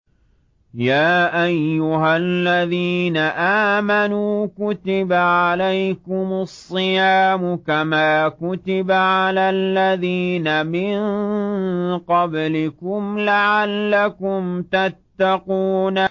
يَا أَيُّهَا الَّذِينَ آمَنُوا كُتِبَ عَلَيْكُمُ الصِّيَامُ كَمَا كُتِبَ عَلَى الَّذِينَ مِن قَبْلِكُمْ لَعَلَّكُمْ تَتَّقُونَ